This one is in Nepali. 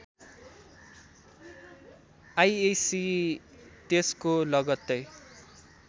आइएस्सी त्यसको लगत्तै